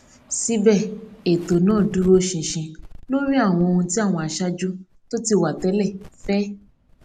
síbẹ ètò náà dúró ṣinṣin lórí àwọn ohun tí àwọn aṣáájú tó ti wà tẹlẹ fẹ